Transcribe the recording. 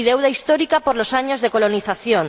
y deuda histórica por los años de colonización.